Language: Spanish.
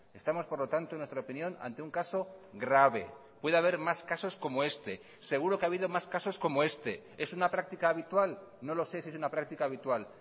estamos por lo tanto en nuestra opinión ante un caso grave puede haber más casos como este seguro que ha habido más casos como este es una práctica habitual no lo sé si es una práctica habitual